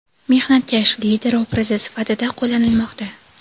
mehnatkash lider obrazi sifatida qo‘llanilmoqda.